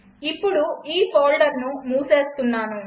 ఇప్పుడు ఈ ఫోల్డర్ను మూసేస్తున్నాను